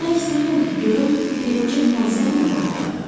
Bilmək istəyirdim ki, görüm birinci hansı əlinə baxacaq?